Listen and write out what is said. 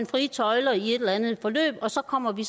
frie tøjler i et eller andet forløb og så kommer vi